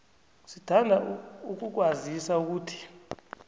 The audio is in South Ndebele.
sithanda ukukwazisa ukuthi